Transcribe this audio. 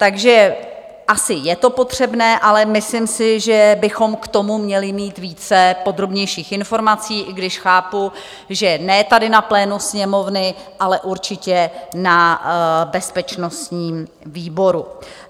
Takže asi je to potřebné, ale myslím si, že bychom k tomu měli mít více podrobnějších informací, i když chápu, že ne tady na plénu Sněmovny, ale určitě na bezpečnostním výboru.